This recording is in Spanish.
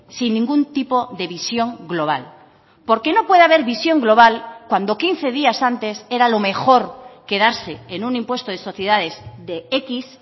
sin ningún tipo de visión global porque no puede haber visión global cuando quince días antes era lo mejor quedarse en un impuesto de sociedades de equis